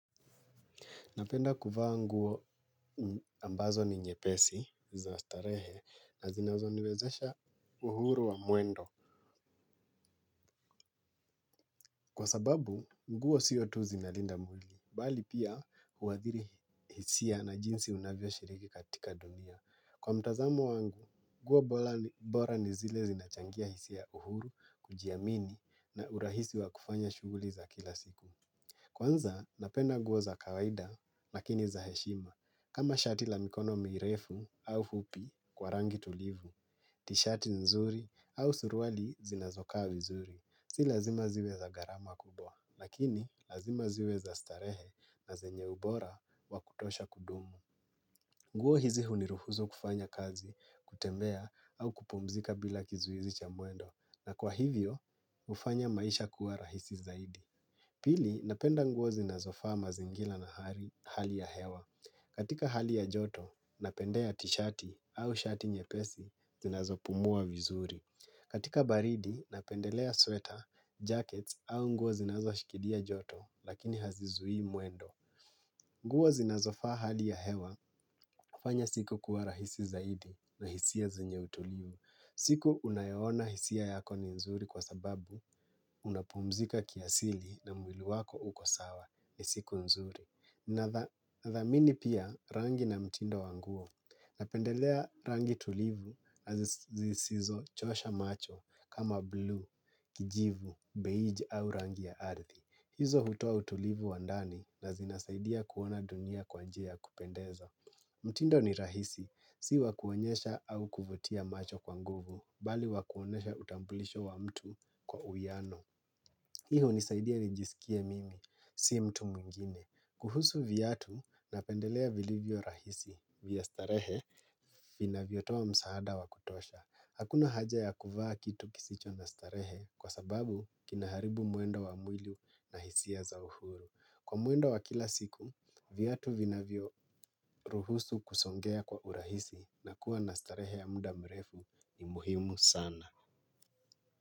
Napenda kuvaa nguo ambazo ni nyepesi za starehe na zinazoniwezesha uhuru wa mwendo. Kwa sababu, nguo sio tu zinalinda mwli, bali pia huadhiri hisia na jinsi unavyoshiriki katika dunia. Kwa mtazamo wangu, nguo bora ni zile zinachangia hisia uhuru kujiamini na urahisi wa kufanya shughuli za kila siku. Kwanza, napenda nguo za kawaida lakini za heshima. Kama shati la mikono mirefu au fupi kwa rangi tulivu, tishati nzuri au suruali zinazokaa vizuri. Si lazima ziwe za gharama kubwa, lakini lazima ziwe za starehe na zenye ubora wa kutosha kudumu. Nguo hizi huniruhusu kufanya kazi, kutembea au kupumzika bila kizuizi cha mwendo. Na kwa hivyo, hufanya maisha kuwa rahisi zaidi. Pili, napenda nguo zinazofaa mazingila na hali ya hewa. Katika hali ya joto, napendea tishati au shati nyepesi, zinazopumua vizuri. Katika baridi, napendelea sweater, jackets au nguo zinazoshikilia joto, lakini hazizuii mwendo. Nguo zinazofaa hali ya hewa, hufanya siku kuwa rahisi zaidi na hisia zenye utulivu. Siku unayoona hisia yako ni nzuri kwa sababu, unapumzika kiasili na mwili wako uko sawa ni siku nzuri. Nathamini pia rangi na mtindo wa nguo. Napendelea rangi tulivu na zisizochosha macho kama blue, kijivu, beige au rangi ya ardhi. Hizo hutoa utulivu wa ndani na zinasaidia kuona dunia kwa njia ya kupendeza. Mtindo ni rahisi. Si wa kuonyesha au kuvutia macho kwa nguvu, bali wa kuonesha utambulisho wa mtu kwa uwiano. Hii hunisaidia nijisikie mimi, si mtu mwingine. Kuhusu viatu napendelea vilivyo rahisi, vya starehe, vinavyotoa msaada wa kutosha. Hakuna haja ya kuvaa kitu kisicho na starehe kwa sababu kinaharibu mwendo wa mwili na hisia za uhuru. Kwa mwendo wa kila siku, viatu vinavyoruhusu kusongea kwa urahisi. Na kuwa na starehe ya mda mrefu ni muhimu sana.